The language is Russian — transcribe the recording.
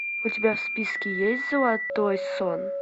у тебя в списке есть золотой сон